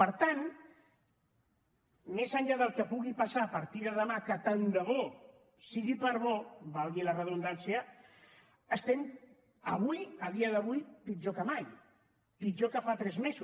per tant més enllà del que pugui passar a partir de demà que tant de bo sigui per bo valgui la redundància estem avui a dia d’avui pitjor que mai pitjor que fa tres mesos